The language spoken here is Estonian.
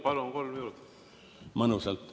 Palun, kolm minutit.